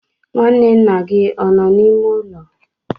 nwanne nna gị ọ nọ n'ime ụlọ?